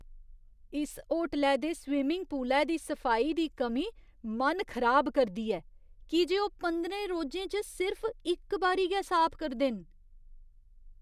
इस होटलै दे स्विंमिंग पूलै दी सफाई दी कमी मन खराब करदी ऐ की जे ओह् पंदरें रोजें च सिर्फ इक बारी गै साफ करदे न।